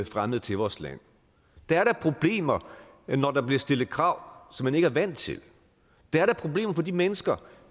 fremmede til vores land der er da problemer når der bliver stillet krav som man ikke er vant til der er da problemer for de mennesker